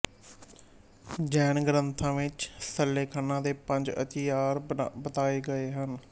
ਜੈਨ ਗਰੰਥਾਂ ਵਿੱਚ ਸੱਲੇਖਨਾ ਦੇ ਪੰਜ ਅਤੀਚਾਰ ਬਤਾਏ ਗਏ ਹਨ